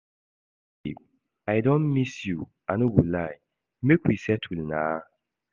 Babe I don miss you I no go lie, make we settle na